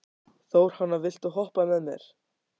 Þórhanna, viltu hoppa með mér?